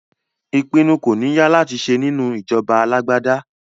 Ìpinnu kò ní ya láti ṣe nínú ìjọba alágbádá